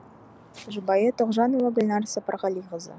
жұбайы тоғжанова гүлнар сапарғалиқызы